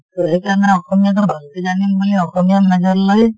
টো সেই কাৰণে অসমীয়া টো ভালকে জানিম বুলি অসমীয়াত major লৈ